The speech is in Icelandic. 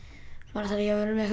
maður þarf ekki að vera með